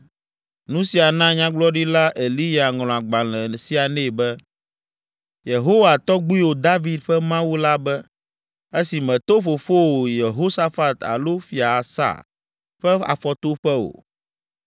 Nu sia na Nyagblɔɖila Eliya ŋlɔ agbalẽ sia nɛ be, “Yehowa, tɔgbuiwò David ƒe Mawu la be, esi mèto fofowò Yehosafat alo Fia Asa ƒe afɔtoƒe o,